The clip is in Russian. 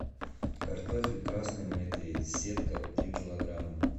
картофель красный мытый сетка три килограмма